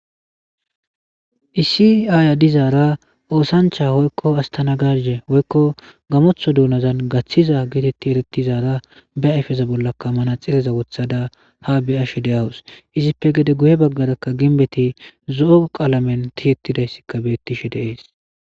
Issi Aya dizara osancha woyko astanagaje woyko gamotho donazan gathiza geteti eretizara be ayfeza bollaka manaxirezaka wothada ha be'ashe de'awus izipe gede guye bagara ginbezi zo'o qalamen tiyetidasi betishe de'es